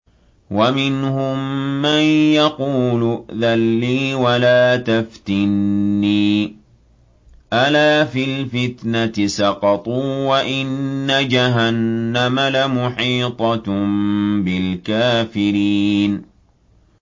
وَمِنْهُم مَّن يَقُولُ ائْذَن لِّي وَلَا تَفْتِنِّي ۚ أَلَا فِي الْفِتْنَةِ سَقَطُوا ۗ وَإِنَّ جَهَنَّمَ لَمُحِيطَةٌ بِالْكَافِرِينَ